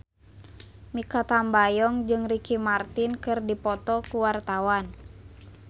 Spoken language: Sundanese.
Mikha Tambayong jeung Ricky Martin keur dipoto ku wartawan